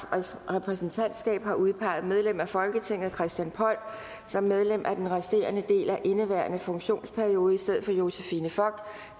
repræsentantskab har udpeget medlem af folketinget christian poll som medlem for den resterende del af indeværende funktionsperiode i stedet for josephine fock